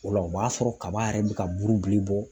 O la o b'a sɔrɔ kaba yɛrɛ bi ka bulu bilen bɔ